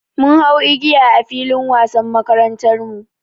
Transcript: Mun hau igiya a filin wasan makarantarmu.